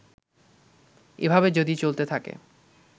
এভাবে যদি চলতে থাকে